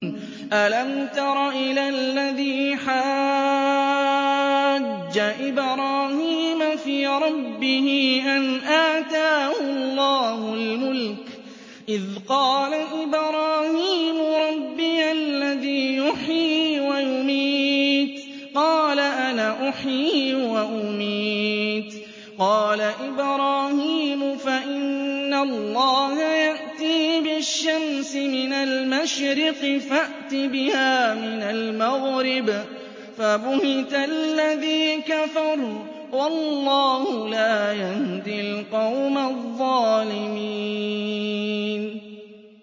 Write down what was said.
أَلَمْ تَرَ إِلَى الَّذِي حَاجَّ إِبْرَاهِيمَ فِي رَبِّهِ أَنْ آتَاهُ اللَّهُ الْمُلْكَ إِذْ قَالَ إِبْرَاهِيمُ رَبِّيَ الَّذِي يُحْيِي وَيُمِيتُ قَالَ أَنَا أُحْيِي وَأُمِيتُ ۖ قَالَ إِبْرَاهِيمُ فَإِنَّ اللَّهَ يَأْتِي بِالشَّمْسِ مِنَ الْمَشْرِقِ فَأْتِ بِهَا مِنَ الْمَغْرِبِ فَبُهِتَ الَّذِي كَفَرَ ۗ وَاللَّهُ لَا يَهْدِي الْقَوْمَ الظَّالِمِينَ